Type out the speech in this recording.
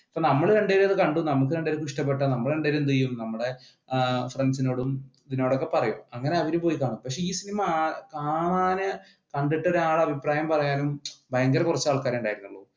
നമ്മൾ കണ്ടു കഴിഞ്ഞ കണ്ടു നമ്മൾ രണ്ടുപേരും എന്ത്ചെയ്യും നമ്മുടെ ഫ്രണ്ട്സിനോടും ഇതിനോട് ഒക്കെ പറയും അങ്ങനെ അറിഞ്ഞുപോയതാ, പക്ഷെ കണ്ടിട്ട് ഒരാൾ അഭിപ്രായം പറയാൻ ഭയങ്കര കുറച്ചു ആൾക്കാരെ ഉണ്ടായിരുന്നുള്ളു.